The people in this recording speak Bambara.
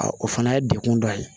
o fana ye degun dɔ ye